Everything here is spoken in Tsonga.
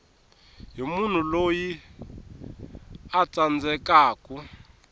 hi munhu loyi a tsandzekaku